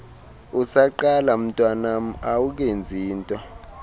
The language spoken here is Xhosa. usaqala mntwanam awukenzinto